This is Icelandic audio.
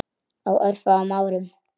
Á örfáum árum.